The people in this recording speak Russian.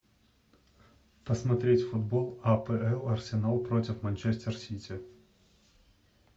посмотреть футбол апл арсенал против манчестер сити